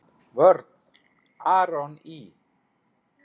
Vörn: Aron Ý.